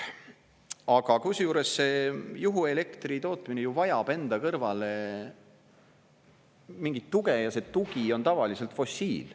Aga kusjuures see juhuelektri tootmine ju vajab enda kõrvale mingit tuge ja see tugi on tavaliselt fossiil.